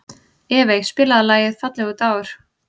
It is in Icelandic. Evey, spilaðu lagið „Fallegur dagur“.